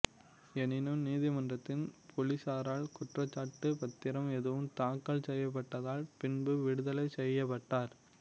எனினும் நீதிமன்றில் பொலிசாரால் குற்றச்சாட்டுப் பத்திரம் எதுவும் தாக்கல் செய்யப்படாததால் பின்பு விடுதலை செய்யப்பட்டார்